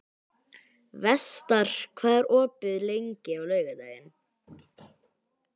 Vestar, hvað er opið lengi á laugardaginn?